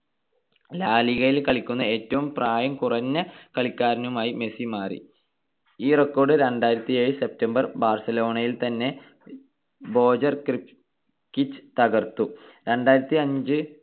ലാ ലിഗയിൽ കളിക്കുന്ന ഏറ്റവും പ്രായം കുറഞ്ഞ കളിക്കാരനുമായി മെസ്സി മാറി. ഈ record രണ്ടായിരത്തിയേഴ് september ബാർസലോണയിൽ തന്നെ ബോജൻ ക്രികിച് തകർത്തു.